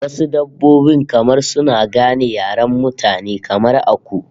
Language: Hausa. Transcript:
Wasu dabbobin kamar suna gane yaren mutane, kamar aku